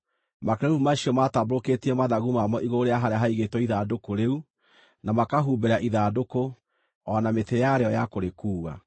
Makerubi macio maatambũrũkĩtie mathagu mamo igũrũ rĩa harĩa haigĩtwo ithandũkũ rĩu, na makahumbĩra ithandũkũ, o na mĩtĩ yarĩo ya kũrĩkuua.